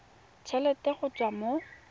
t helete go tswa mo